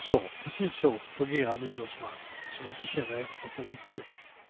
Så, precis så, fungerar en idrottsman som inte känner efter för mycket.